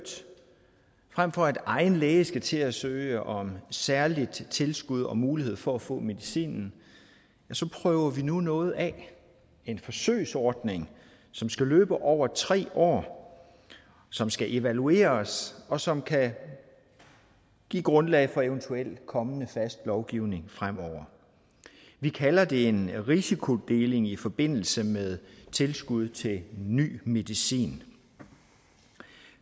frem for at egen læge skal til at søge om særligt tilskud og mulighed for at få medicinen prøver vi nu noget af en forsøgsordning som skal løbe over tre år som skal evalueres og som kan give grundlag for eventuel kommende fast lovgivning fremover vi kalder det en risikodeling i forbindelse med tilskud til ny medicin